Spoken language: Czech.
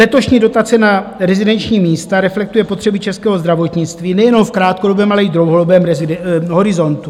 Letošní dotace na rezidenční místa reflektuje potřeby českého zdravotnictví nejenom v krátkodobém, ale i v dlouhodobém horizontu.